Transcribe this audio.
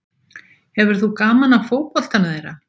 Hefur þú gaman af fótboltanum þeirra?